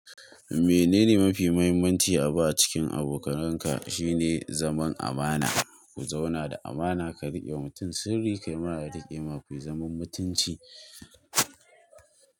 Menene mafi muhimmanci a ba cikin abokanan ka shine zaman amana. Ku zauna da amana ka riƙe mutum sirri, ka yi ma na riƙe, ma kai zaman mutunci.